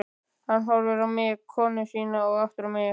Hann horfir á mig, konu sína og aftur á mig.